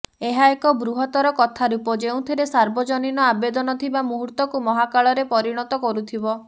ଏହା ଏକ ବୃହତ୍ତର କଥାରୂପ ଯେଉଁଥିରେ ସାର୍ବଜନୀନ ଆବେଦନ ଥିବ ମୁହୂର୍ତ୍ତକୁ ମହାକାଳରେ ପରିଣତ କରୁଥିବ